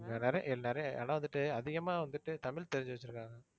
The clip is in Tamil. நிறைய நிறைய ஆனா வந்துட்டு அதிகமா வந்துட்டு தமிழ் தெரிஞ்சு வச்சிருக்காங்க.